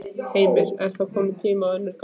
Heimir: Er þá ekki kominn tími á önnur gögn?